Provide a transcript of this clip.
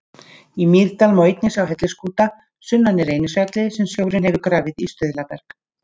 Í Mýrdal má einnig sjá hellisskúta sunnan í Reynisfjalli sem sjórinn hefur grafið í stuðlaberg.